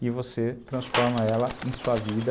e você transforma ela em sua vida.